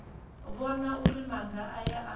vhona uri maga aya a